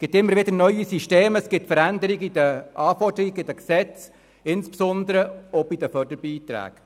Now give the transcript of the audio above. Es gibt immer wieder neue Systeme, es gibt Veränderungen in den Anforderungen, in den Gesetzen, insbesondere auch bei den Förderbeiträgen.